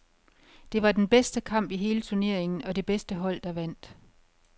Det var den bedste kamp i hele turneringen, og det bedste hold der vandt.